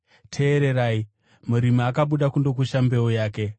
“Teererai! Murimi akabuda kundokusha mbeu yake.